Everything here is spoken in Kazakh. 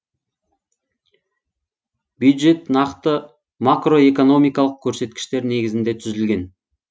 бюджет нақты макроэкономикалық көрсеткіштер негізінде түзілген